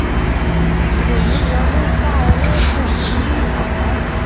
ìròyìn wọlé fa owó kú nínú àkáǹtí.